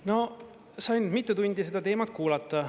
No sain mitu tundi seda teemat kuulata.